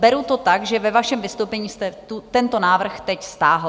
Beru to tak, že ve vašem vystoupení jste tento návrh teď stáhl.